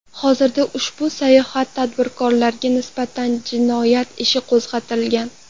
Hozirda ushbu soxta tadbirkorlarga nisbatan jinoyat ishi qo‘zg‘atilgan.